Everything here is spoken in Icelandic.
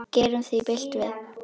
Gerum því bylt við.